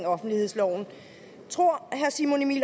offentlighedsloven tror herre simon emil